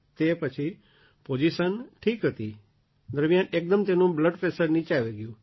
તે પછી પૉઝિશન ઠીક હતી એકદમ તેમનું બ્લડ પ્રૅશર નીચું આવી ગયું